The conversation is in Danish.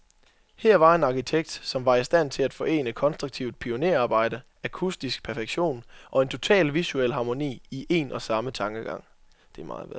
Her var en arkitekt, som var i stand til at forene konstruktivt pionerarbejde, akustisk perfektion, og en total visuel harmoni, i en og samme tankegang.